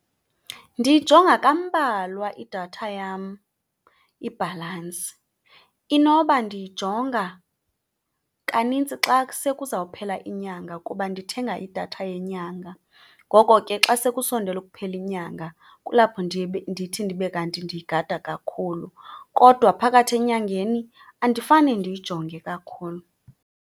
Ndiyijonga kambalwa idatha yam, ibhalansi. Inoba ndiyijonga kanintsi xa kusekuzawuphela inyanga kuba ndithenga idatha yenyanga, ngoko ke xa sekusondele ukuphela inyanga kulapho ndithi ndibe kanti ndiyigada kakhulu. Kodwa phakathi enyangeni andifane ndiyijonge kakhulu.